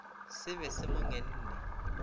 se be se mo ngenne